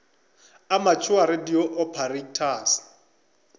amateur radio operators